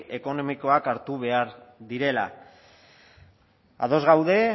ekonomikoak hartu behar direla ados gaude